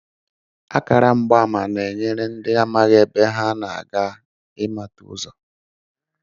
Akaramgbaama na-enyere ndị amaghị ebe ha na-aga ịmata ụzọ